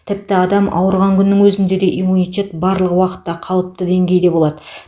тіпті адам ауырған күннің өзінде де иммунитет барлық уақытта қалыпты деңгейде болады